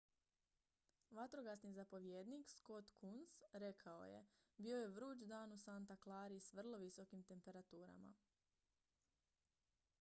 vatrogasni zapovjednik scott kouns rekao je bio je vruć dan u santa clari s vrlo visokim temperaturama